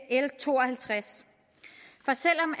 l to og halvtreds for selv om